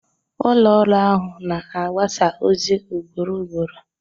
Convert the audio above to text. Ụlọ ọrụ ahụ na-agbasa ozi ugboro ugboro